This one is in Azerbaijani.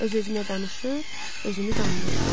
Öz-özünə danışır, özünü danlayırdı.